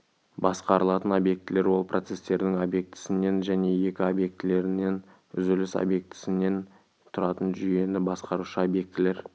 басқарылатын объектілер ол процестердің объектісінен және екі объектілерінен үзіліс объектісінен тұратын жүйені басқарушы объектілер